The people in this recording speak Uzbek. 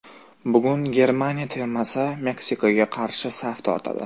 Bugun Germaniya termasi Meksikaga qarshi saf tortadi.